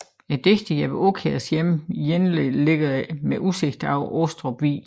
Digteren Jeppe Aakjærs hjem Jenle ligger med udsigt over Astrup Vig